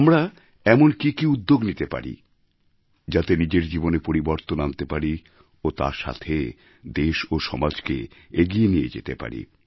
আমরা এমন কি কি উদ্যোগ নিতে পারি যাতে নিজের জীবনে পরিবর্তন আনতে পারি ও তার সাথে দেশ ও সমাজকে এগিয়ে নিয়ে যেতে পারি